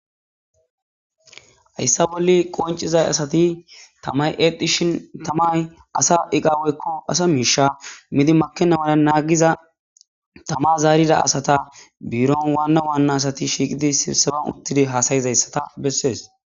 hayssa bolle qoncizay asati tamay eethishin tamay asa iqaweykko asa miisha midi makenawala naagiza tama zaarida asata biron waanna waanna asati shiiqidi sibseban uttidi haasayizayssata bessees